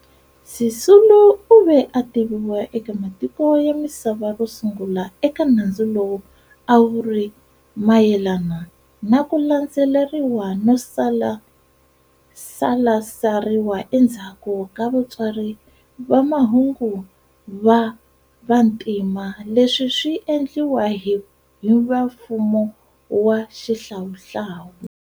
Sisulu u ve a tiviwa eka matiko ya misava ro sungula eka nandzu lowu a wu ri mayenana na ku landzeleriwa no salasariwa endzhaku ka vatsari va mahungu va vantima leswi swi endliwa hi vamfumo wa xihlawuhlawu.